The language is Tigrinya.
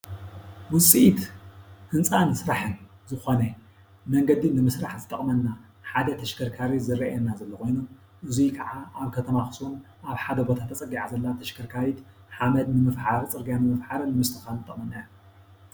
ዉጽኢት ህንፃን ስራሓን ዝኮነ መንገዲ ንምስራሕ ዝጠቅመና ሓደ ተሽከርካሪ ዝረኣየና ዘሎ ኮይኑ እዙይ ከዓ ኣብ ከተማ ኣክሱም ኣብ ሓደ ቦታ ተፀጊዓ ዘለ ተሽከርካሪት ሓመድ ንምፍሓርን ፅርግያ ንምፍሓርን ንምስትክካል ትጠቅመና እያ ።